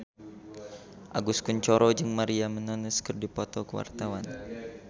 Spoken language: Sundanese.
Agus Kuncoro jeung Maria Menounos keur dipoto ku wartawan